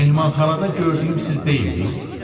Mehmanxanada gördüyüm siz deyildiz?